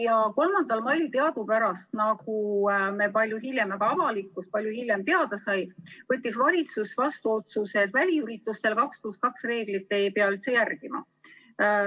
Ja 3. mail teadupärast, nagu saime meie ja sai ka avalikkus palju hiljem teada, võttis valitsus vastu otsuse, et väliüritustel 2 + 2 reeglit ei pea üldse järgima.